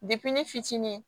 ne fitinin